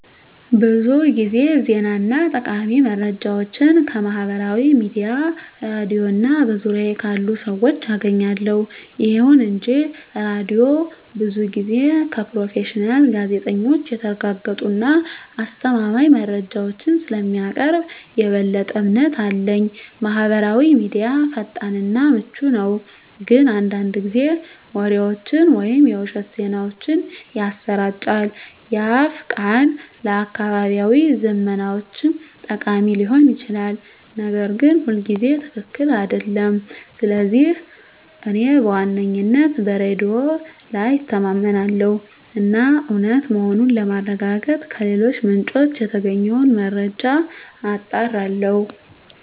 ብዙ ጊዜ ዜና እና ጠቃሚ መረጃዎችን ከማህበራዊ ሚዲያ፣ ሬድዮ እና በዙሪያዬ ካሉ ሰዎች አገኛለሁ። ይሁን እንጂ ሬዲዮው ብዙ ጊዜ ከፕሮፌሽናል ጋዜጠኞች የተረጋገጡ እና አስተማማኝ መረጃዎችን ስለሚያቀርብ የበለጠ እምነት አለኝ። ማህበራዊ ሚዲያ ፈጣን እና ምቹ ነው፣ ግን አንዳንድ ጊዜ ወሬዎችን ወይም የውሸት ዜናዎችን ያሰራጫል። የአፍ ቃል ለአካባቢያዊ ዝመናዎች ጠቃሚ ሊሆን ይችላል, ነገር ግን ሁልጊዜ ትክክል አይደለም. ስለዚህ እኔ በዋነኝነት በሬዲዮ ላይ እተማመናለሁ እና እውነት መሆኑን ለማረጋገጥ ከሌሎች ምንጮች የተገኘውን መረጃ አጣራለሁ።